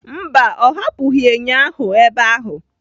Mba, ọ hapụghị enyo ahụ ebe ahụ.